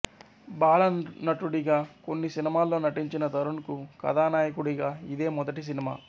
బాలనటుడిగా కొన్ని సినిమాల్లో నటించిన తరుణ్ కు కథానాయకుడిగా ఇదే మొదటి సినిమా